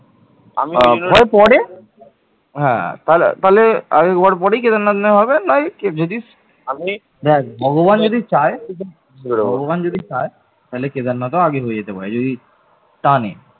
হ্যাঁ, তা তাহলে আগে গোয়া পরে কেদারনাথই নাহয় হবে, নয় দেখ ভগবান যদি চাই ভগবান যদি চাইতাহলে কেদারনাথও আগে হয়ে যেতে পারে, যদি টানে